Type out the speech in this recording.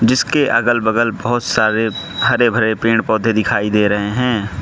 इसके अगल बगल बहोत सारे हरे भरे पेड़ पौधे दिखाई दे रहें हैं।